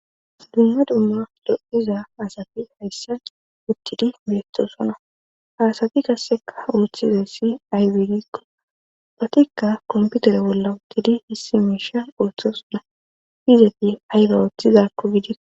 Dumma dumma do7iza asafi hayssa uttidi beettosonna haasafi kasseka ooththiza ssi aywegikko patikka komputere bolla uttidi hissi miisha ooththosuna fizefi ayba ooththizakko gidikko.